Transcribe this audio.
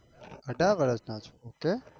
અઢાર વરસ ના છો ok